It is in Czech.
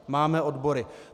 Máme odbory.